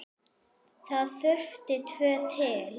Það þurfti tvo til.